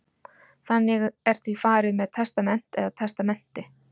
þannig er því farið með testament eða testamenti